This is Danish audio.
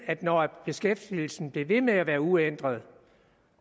at når beskæftigelsen bliver ved med at være uændret